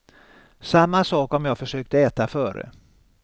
Samma sak om jag försökte äta före.